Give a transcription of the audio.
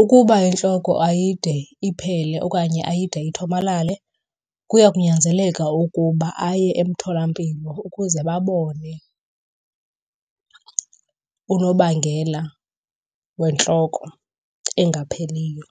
Ukuba intloko ayide iphele okanye ayide ithomalale, kuya kunyanzeleka ukuba aye emtholampilo ukuze babone unobangela wentloko engapheliyo.